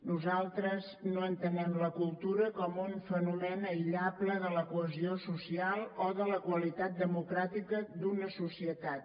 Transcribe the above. nosaltres no entenem la cultura com un fenomen aïllable de la cohesió social o de la qualitat democràtica d’una societat